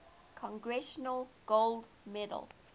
congressional gold medal